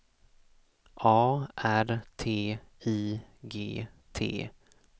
A R T I G T